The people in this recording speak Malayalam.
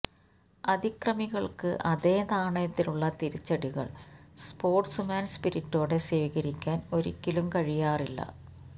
അതിക്രമികള്ക്ക് അതേ നാണയത്തിലുള്ള തിരിച്ചടികള് സ്പോര്ട്സ്മാന് സ്പിരിറ്റോടെ സ്വീകരിക്കാന് ഒരിക്കലും കഴിയാറില്ല